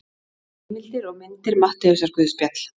Heimildir og myndir Matteusarguðspjall.